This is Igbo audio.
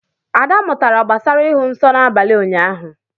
Ada mụtara gbasara ịhụ nsọ n’abalị ụnyahụ